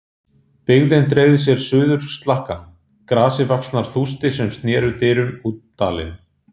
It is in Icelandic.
Byggðin dreifði úr sér suður slakkann, grasivaxnar þústir sem sneru dyrum út dalinn.